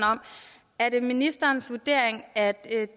er det ministerens vurdering er